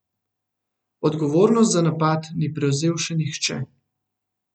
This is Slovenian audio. Odgovornosti za napad ni prevzel še nihče.